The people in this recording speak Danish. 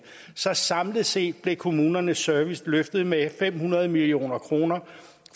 så samlet set blev kommunernes service løftet med fem hundrede million kroner